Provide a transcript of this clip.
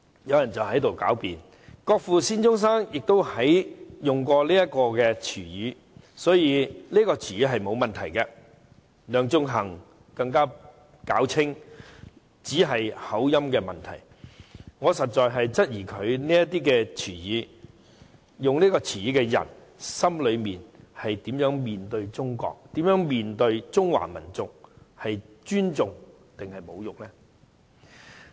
"有人辯稱國父孫中山亦曾使用這個詞語，所以並沒有問題；梁頌恆更辯稱只是口音的問題，我實在質疑使用這個詞語的他心裏是怎樣面對中國和中華民族——是尊重還是侮辱呢？